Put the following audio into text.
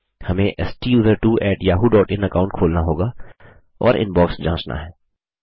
हमें STUSERTWOyahooin account खोलना होगा और इनबॉक्स जाँचना है